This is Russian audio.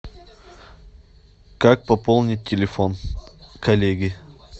как пополнить телефон коллеге